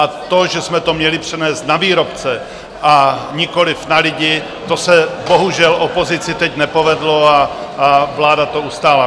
A to, že jsme to měli přenést na výrobce a nikoliv na lidi, to se bohužel opozici teď nepovedlo a vláda to ustála.